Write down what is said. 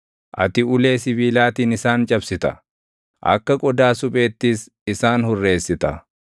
Ati ulee sibiilaatiin isaan cabsita; akka qodaa supheettis isaan hurreessita.”